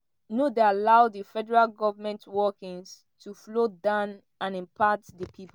no dey allow di federal goment workings to flow down and impact di pip.